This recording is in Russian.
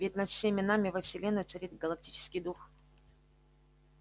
ведь над всеми нами во вселенной царит галактический дух